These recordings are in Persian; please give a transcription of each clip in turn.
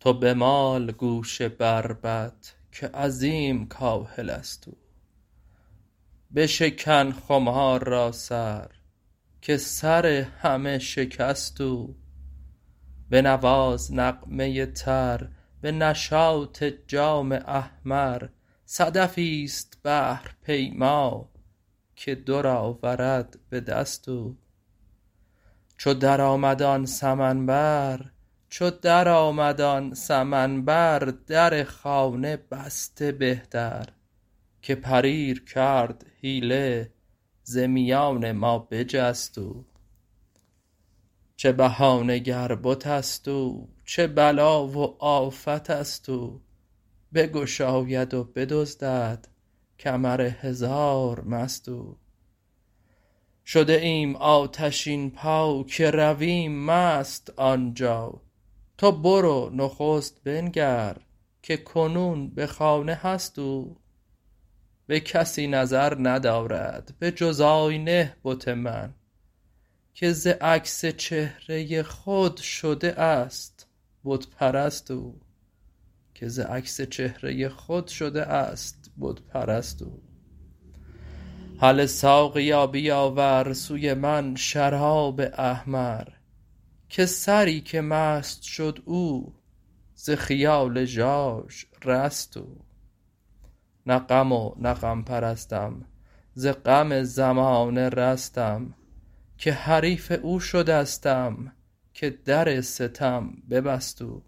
تو بمال گوش بربط که عظیم کاهل است او بشکن خمار را سر که سر همه شکست او بنواز نغمه تر به نشاط جام احمر صدفی است بحرپیما که در آورد به دست او چو درآمد آن سمن بر در خانه بسته بهتر که پریر کرد حیله ز میان ما بجست او چه بهانه گر بت است او چه بلا و آفت است او بگشاید و بدزدد کمر هزار مست او شده ایم آتشین پا که رویم مست آن جا تو برو نخست بنگر که کنون به خانه هست او به کسی نظر ندارد به جز آینه بت من که ز عکس چهره خود شده است بت پرست او هله ساقیا بیاور سوی من شراب احمر که سری که مست شد او ز خیال ژاژ رست او نه غم و نه غم پرستم ز غم زمانه رستم که حریف او شدستم که در ستم ببست او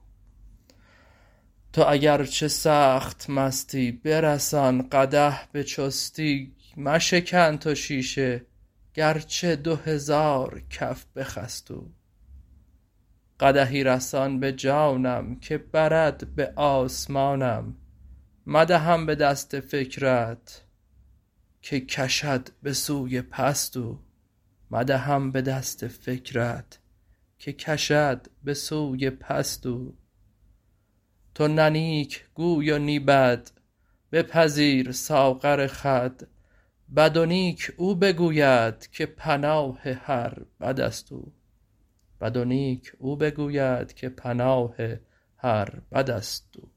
تو اگرچه سخت مستی برسان قدح به چستی مشکن تو شیشه گرچه دو هزار کف بخست او قدحی رسان به جانم که برد به آسمانم مدهم به دست فکرت که کشد به سوی پست او تو نه نیک گو و نی بد بپذیر ساغر خود بد و نیک او بگوید که پناه هر بد است او